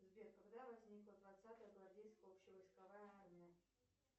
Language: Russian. сбер когда возникла двадцатая гвардейская общевойсковая армия